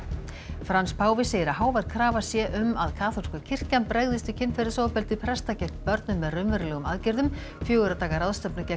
Frans páfi segir að hávær krafa sé um að kaþólska kirkjan bregðist við kynferðisofbeldi presta gegn börnum með raunverulegum aðgerðum fjögurra daga ráðstefna gegn